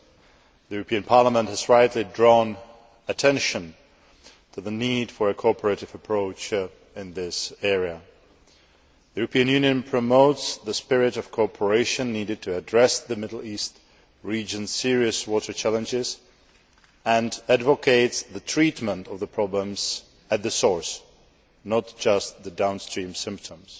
The European Parliament has rightly drawn attention to the need for a cooperative approach in this area. The European Union promotes the spirit of cooperation needed to address the Middle East region's serious water challenges and advocates treatment of the problems at source, and not just the downstream symptoms.